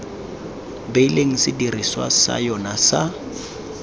beileng sedirisiwa sa yona sa